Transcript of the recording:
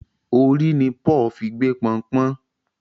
Orí ní Paul fí gbé Pọnpọ́n